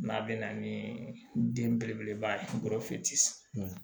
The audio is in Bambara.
N'a bɛ na ni den belebeleba ye